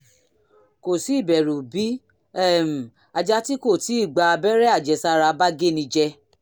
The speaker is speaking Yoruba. kò sí ìbẹ̀rù bí um ajá tí kò tíì gba abẹ́rẹ́ àjẹsára bá géni jẹ